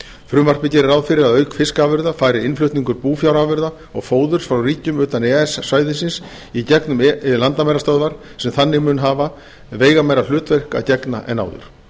frumvarpið gerir ráð fyrir að auk fiskafurða fari innflutningur búfjárafurða og fóðurs frá ríkjum utan e e s svæðisins í gegnum landamærastöðvar sem þannig munu hafa veigameira hlutverki að gegna en áður